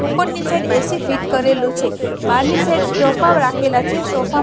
ઉપરની side AC fit કરેલું છે બારની સાઈડ સોફા રાખેલા છે સોફા--